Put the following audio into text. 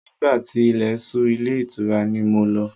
Nígbà tí ilẹ̀ ṣú ilé ìtura ni mo lọ.